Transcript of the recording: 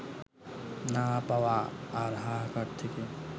না পাওয়া আর হাহাকার থেকে